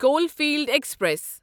Caulfield express